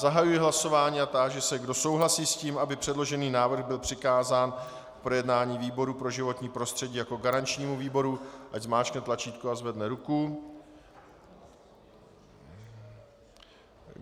Zahajuji hlasování a táži se, kdo souhlasí s tím, aby předložený návrh byl přikázán k projednání výboru pro životní prostředí jako garančnímu výboru, ať zmáčkne tlačítko a zvedne ruku.